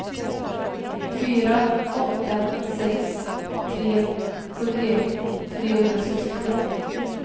fyra åtta sex tre sjuttioett trehundrasextiosju